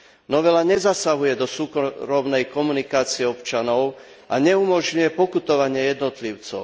Novela nezasahuje do súkromnej komunikácie občanov a neumožňuje pokutovanie jednotlivcov.